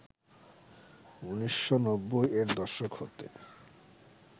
১৯৯০ এর দশক হতে